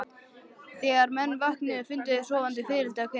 Þegar menn vöknuðu fundu þeir sofandi fiðrildi á kinnum sínum.